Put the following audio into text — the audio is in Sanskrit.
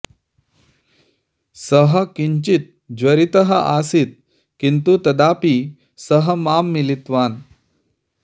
सः किञ्चित् ज्वरितः आसीत् किन्तु तदापि सः मां मिलितवान्